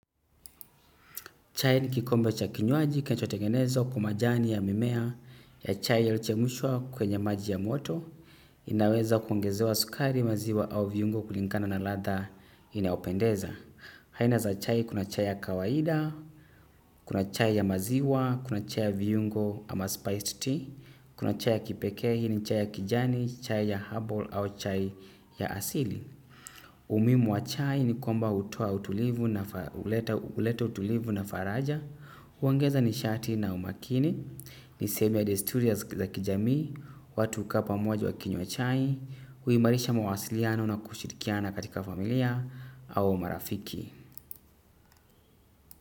Chai ni kikombe cha kinywaji, kinacho tegenezwa, kwa majani ya mimea, ya chai ya ilochemushwa kwenye maji ya moto, inaweza kuongezewa sukari maziwa au viungo kulingana na latha inayopendeza. Haina za chai kuna chai ya kawaida, kuna chai ya maziwa, kuna chai ya viungo ama spiced tea, kuna chai ya kipeke hini chai ya kijani, chai ya herbal au chai ya asili. Umuhimu wa chai ni kwamba huleta utulivu na faraja huongeza ni shati na umakini. Ni sehemu ya ya kijamii. Watu hukaa pamoja wa kinywa chai huimarisha mawasiliano na kushirikiana katika familia au marafiki.